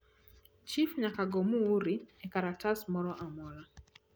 chif nyaka go muuri e kalatas moro amora